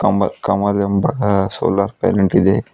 ಕಮಲ್ ಕಮಲ್ ಎಂಬಕ solar planet ಇದೆ.